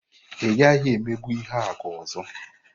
Ị gaghị emegbu Ihuaku ọzọ!